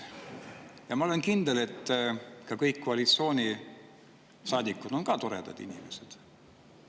Ja ma olen kindel, et ka kõik teised koalitsioonisaadikud on toredad inimesed.